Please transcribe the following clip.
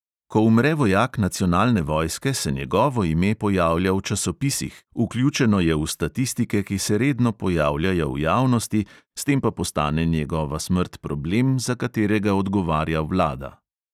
Ko umre vojak nacionalne vojske, se njegovo ime pojavlja v časopisih, vključeno je v statistike, ki se redno pojavljajo v javnosti, s tem pa postane njegova smrt problem, za katerega odgovarja vlada.